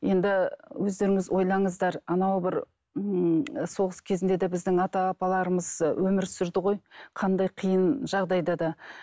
енді өздеріңіз ойлаңыздар анау бір ммм соғыс кезінде де біздің ата апаларымыз өмір сүрді ғой қандай қиын жағдайда да